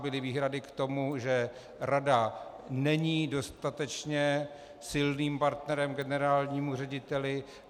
Byly výhrady k tomu, že rada není dostatečně silným partnerem generálnímu řediteli.